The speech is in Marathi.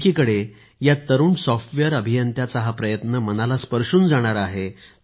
एकीकडे या तरुण सॉफ्टवेअर अभियंत्याचा हा प्रयत्न मनाला स्पर्शून जाणारा आहे